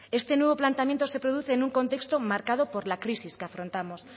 este nuevo planteamiento se produce en un contexto marcado por la crisis que afrontamos